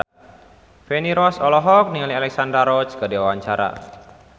Feni Rose olohok ningali Alexandra Roach keur diwawancara